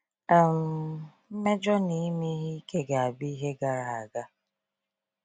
um Mmejọ na ime ihe ike ga-abụ ihe gara aga.